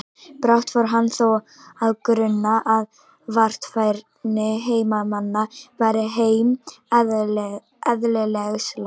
Brátt fór hann þó að gruna að varfærni heimamanna væri þeim eðlislæg.